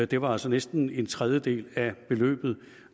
det var altså næsten en tredjedel af beløbet